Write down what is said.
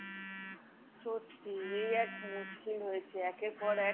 সত্যি, এই এক মুশকিল হয়েছে। একের পর এক